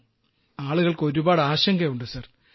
sir ആളുകൾക്ക് ഒരുപാട് ആശങ്കയുണ്ട് സർ